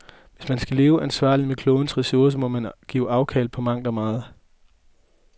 Hvis man skal leve ansvarligt med klodens ressourcer, må man give afkald på mangt og meget.